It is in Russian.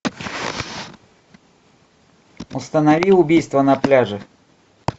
установи убийство на пляже